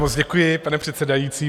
Moc děkuji, pane předsedající.